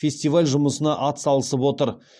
фестиваль жұмысына атсалысып отыр